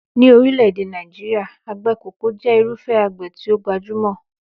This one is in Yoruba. Ní orílẹ̀-èdè Nàìjíríà, àgbẹ̀ kókà jẹ́ irúfẹ́ àgbẹ̀ tí ó gbajúmọ̀.